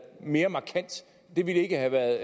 mere markant det ville ikke have været